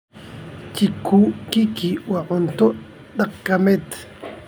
Chikukiki waa cunto dhaqameed.